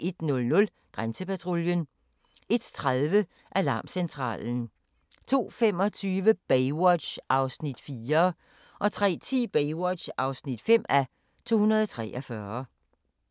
01:00: Grænsepatruljen 01:30: Alarmcentralen 02:25: Baywatch (4:243) 03:10: Baywatch (5:243)